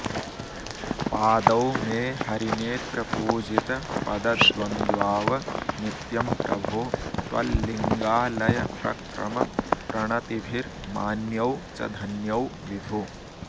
पादौ मे हरिनेत्रपूजितपदद्वन्द्वाव नित्यं प्रभो त्वल्लिङ्गालयप्रक्रमप्रणतिभिर्मान्यौ च धन्यौ विभो